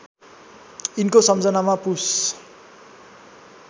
यिनको सम्झनामा पुष